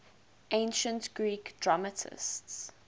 ancient greek dramatists